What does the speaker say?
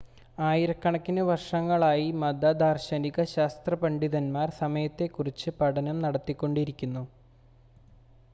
ആയിരക്കണക്കിന് വർഷങ്ങളായി മത ദാർശനിക ശാസ്ത്ര പണ്ഡിതന്മാർ സമയത്തെ കുറിച്ച് പഠനം നടത്തിക്കൊണ്ടിരിക്കുന്നു